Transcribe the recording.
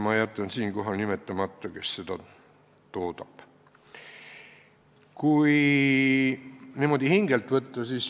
Ma jätan siinkohal nimetamata, kes seda toodab.